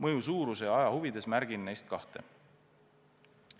Et aega kokku hoida, märgin neist vaid kahte, mille mõju on kõige suurem.